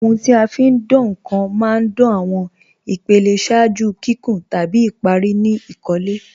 Ọ̀huń ti a fi ń dáǹ nkan má ń dáǹ awọn ìpèlẹ̀ ṣáàjú kíkún tabi ìparí ni ìkólẹ̀.